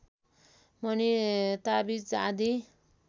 मणि ताबिज आदि